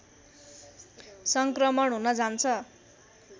सङ्क्रमण हुन जान्छ